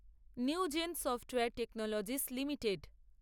new gen software technologies limited